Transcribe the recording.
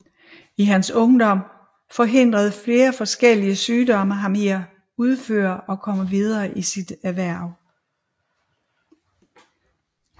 I hans ungdom forhindrede forskellige sygdomme ham i at udføre og komme videre i sit erhverv